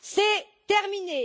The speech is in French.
C'est terminé.